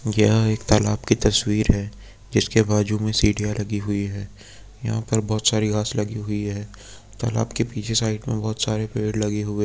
ये एक तालाब की तस्वीर है। जिसके बाजू में बहुत सारी सीढ़ियाँ लगी है। यहां पर बहुत सारी घास लगी हुई है। तालाब के पीछे साइड मे बहुत सारे पेड़ लगे हुए --